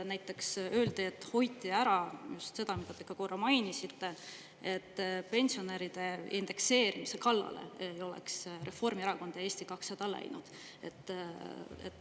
Näiteks öeldi, et hoiti ära just seda, mida te ka korra mainisite, et pensionäride indekseerimise kallale ei oleks Reformierakond ja Eesti 200 läinud.